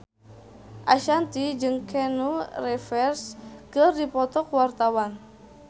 Ashanti jeung Keanu Reeves keur dipoto ku wartawan